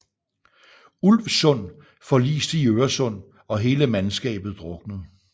Ulvsund forliste i Øresund og hele mandskabet druknede